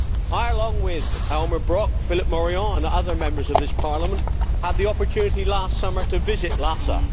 I, along with Elmar Brok, Philippe Morillon and other Members of this Parliament, had the opportunity last summer to visit Lhasa.